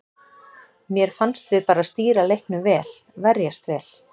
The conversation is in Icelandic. Mér fannst við bara stýra leiknum vel, verjast vel.